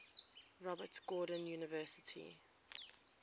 robert gordon university